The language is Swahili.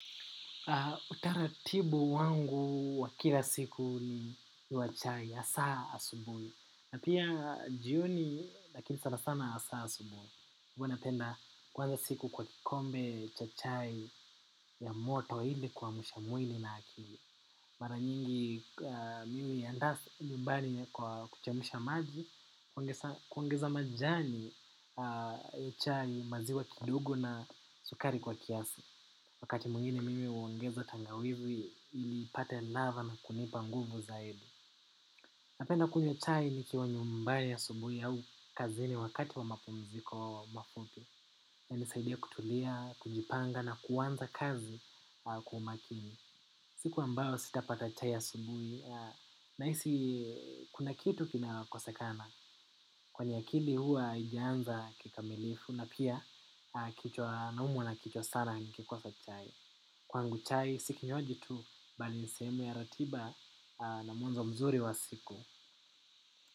Utaratibu wangu wa kila siku ni wa chai ya saa asubui. Na pia jioni, lakini sana sana ya saa asubui. Huwa napenda kuanza siku kwa kikombe cha chai ya moto ili kuamsha mwili na akili. Mara nyingi mimi ya ndasa mbani kwa kuchemsha maji, kuongeza majani ya chai maziwa kidogo na sukari kwa kiasi. Wakati mwingine mimi huongeza tangawizi ili ipate ladha na kunipa nguvu zaidi. Napenda kunywa chai nikiwa nyumbani asubui au kazini wakati wa mapumziko mafupi. Inasaidia kutulia, kujipanga na kuwanza kazi kwa umakini. Siku ambayo sitapata chai asubuhi. Nahisi kuna kitu kina kosekana. Kwenye akili huwa haijanza kikamilifu na pia kichwa naumwa na kichwa sana nikikosa chai. Kwangu chai si kinywaji tu bali ni seemu ya ratiba na mwanzo mzuri wa siku.